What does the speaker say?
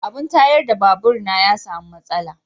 abin tayar da babur na ya samu matsala jiya.